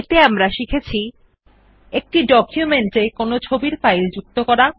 এতে আমরা শিখেছি একটি ডকুমেন্ট এ একটি ইমেজ ফাইল যুক্ত করা